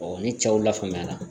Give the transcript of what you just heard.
ni cɛw lafaamuyara